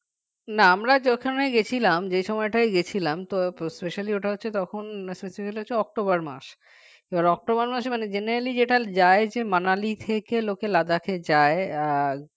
না আমরা যেখানে গেছিলাম যে সময়টায় গেছিলাম তো specially ওটা হচ্ছে তখন আহ হচ্ছে অক্টোবর মাস আর অক্টোবর মাসে generally যেটা যায় যে manali থেকে লোকে Ladakh এ যায় আর